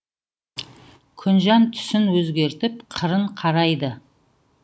күнжан түсін өзгертіп қырын қарайды